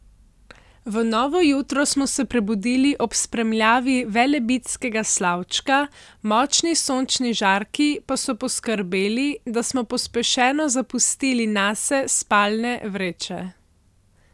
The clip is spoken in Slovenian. V novo jutro smo se prebudili ob spremljavi Velebitskega Slavčka, močni sončni žarki pa so poskrbeli da smo pospešeno zapustili nase spalne vreče.